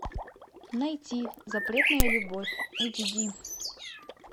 найти запретная любовь эйч ди